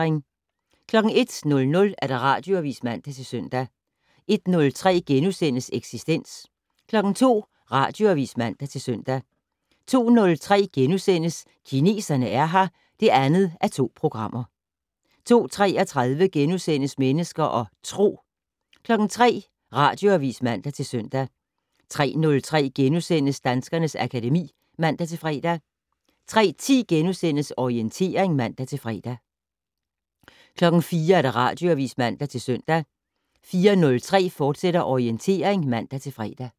01:00: Radioavis (man-søn) 01:03: Eksistens * 02:00: Radioavis (man-søn) 02:03: Kineserne er her (2:2)* 02:33: Mennesker og Tro * 03:00: Radioavis (man-søn) 03:03: Danskernes akademi *(man-fre) 03:10: Orientering *(man-fre) 04:00: Radioavis (man-søn) 04:03: Orientering, fortsat (man-fre)